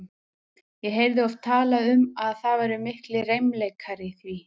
Ég heyrði oft talað um að það væru miklir reimleikar í því.